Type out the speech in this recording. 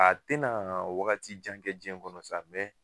A te na wagati jan kɛ jiɲɛn kɔnɔ sa mɛ